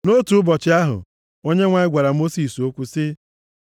Nʼotu ụbọchị ahụ, Onyenwe anyị gwara Mosis okwu sị,